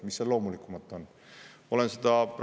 Mis seal loomulikumat?